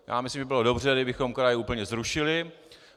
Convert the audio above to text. Já myslím, že by bylo dobře, kdybychom kraje úplně zrušili.